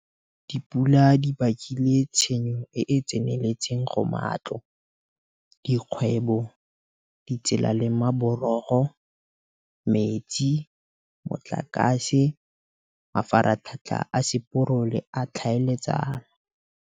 Batho bano ke bona ba ba utolotseng ditatofatso tseno tsa bonweenwee, ke bona ba ba neng ba ema kgatlhanong le seno, ba ntsha musi ka sekhurumelo le go baka mmudubudu ka ditiragalo tseno ba bangwe ke ba ba leng mo pusong fa ba bangwe ba sa itsewe mme ba dirile seno ka ba ne ba leka go fedisa ditiragalo tseno tsa go goga puso ka nko.